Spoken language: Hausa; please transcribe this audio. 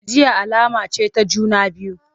Gajiya alama ce ta juna biyu.